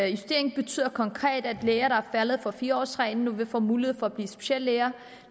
justeringen betyder konkret at læger der er faldet for fire årsreglen nu vil få mulighed for at blive speciallæger